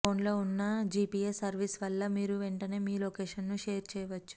phone లో ఉన్న GPS service వల్ల మీరు వెంటనే మీ లొకేషన్ ను షేర్ చేయవచ్చు